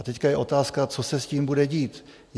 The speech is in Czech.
A teď je otázka, co se s tím bude dít?